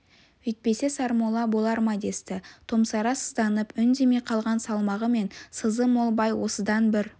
өйтпесе сармолла болар ма десті томсара сызданып үндемей қалған салмағы мен сызы мол бай осыдан бір